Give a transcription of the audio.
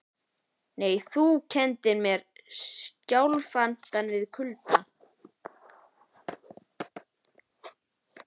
Nema þú kenndir skjálftann við kulda.